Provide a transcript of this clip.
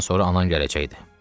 Birazdan sonra anan gələcəkdi.